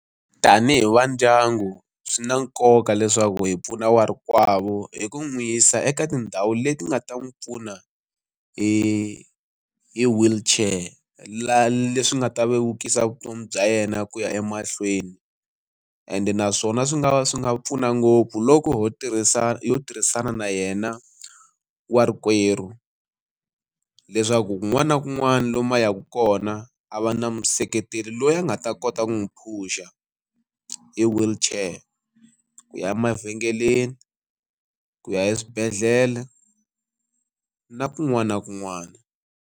Tanihi va ndyangu swi na nkoka leswaku hi pfuna warikwavo hi ku n'wi yisa eka tindhawu leti nga ta n'wi pfuna hi hi wheelchair la leswi nga ta vevukisa vutomi bya yena ku ya emahlweni, ende naswona swi nga va swi nga pfuna ngopfu loko ho tirhisa ho tirhisana na yena wa rikwerhu leswaku kun'wana na kun'wana lomu a yaka kona a va na museketeri loyi a nga ta kota ku n'wi phusha hi wheelchair, ku ya emavhengeleni, ku ya eswibedhlele na kun'wana na kun'wana.